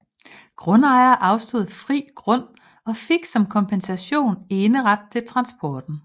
Grundejerne afstod fri grund og fik som kompensation eneret til transporten